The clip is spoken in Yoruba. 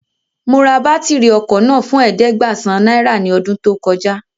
Mo ra bátìrì ọkọ̀ náà fún ẹ̀ẹ́dẹ́gbàsán náírà ní ọdún tó kọjá